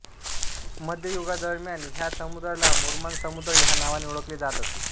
मध्य युगादरम्यान ह्या समुद्राला मुर्मान समुद्र ह्या नावाने ओळखले जात असे